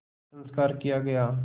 संस्कार किया गया